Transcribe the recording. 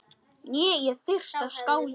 Ég er fyrsta skáld á